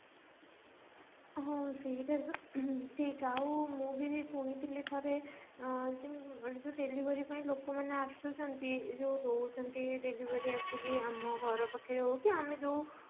ହଁ ସେଇଟା ତ ଠିକ ଆଉ ମୁଁ ବି ଶୁଣିଥିଲି ଥରେ ଅ କି ମାନେ ଯଉ delivery ପାଇଁ ଲୋକମାନେ ଆସୁଛନ୍ତି ଯଉ ଦଉଛନ୍ତି delivery ଆସିକି ଆମ ଘର ପାଖ ରେ ହଉ କି ଆମେ ଯଉ